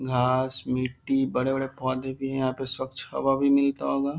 घास मिट्टी बड़े-बड़े पौधे भी हैं यहाँ पे स्वच्छ हवा भी मिलता होगा।